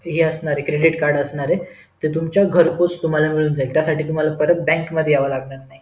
हे असणारे credit card असणारे ते तुमच्या घरपोच तुम्हाला मिळून जाईल त्यासाठी तुम्हाला परत बँक मध्ये यावे लागणार नाही